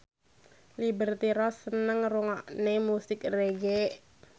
Liberty Ross seneng ngrungokne musik reggae